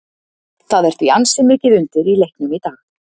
Það er því ansi mikið undir í leiknum í dag.